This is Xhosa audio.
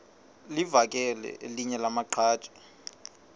livakele elinye lamaqhaji